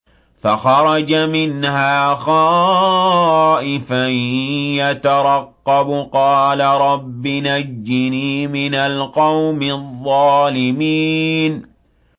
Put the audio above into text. فَخَرَجَ مِنْهَا خَائِفًا يَتَرَقَّبُ ۖ قَالَ رَبِّ نَجِّنِي مِنَ الْقَوْمِ الظَّالِمِينَ